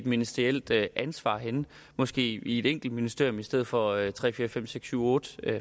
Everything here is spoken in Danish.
ministerielt ansvar henne måske i et enkelt ministerium i stedet for i tre fire fem seks syv otte